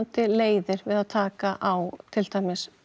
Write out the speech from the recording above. leiðir við að taka á til dæmis